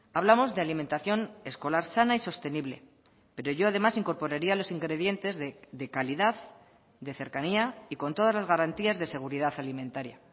hablamos de alimentación escolar sana y sostenible pero yo además incorporaría los ingredientes de calidad de cercanía y con todas las garantías de seguridad alimentaria